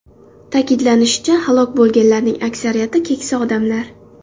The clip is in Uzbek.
Ta’kidlanishicha, halok bo‘lganlarning aksariyati keksa odamlar.